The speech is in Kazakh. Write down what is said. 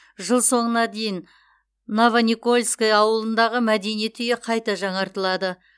жыл соңына дейін новоникольское ауылындағы мәдениет үйі қайта жаңартылады